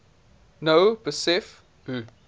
nou besef hoe